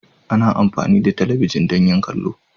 Ana amfani da talabijin don yin kallo.